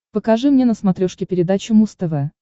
покажи мне на смотрешке передачу муз тв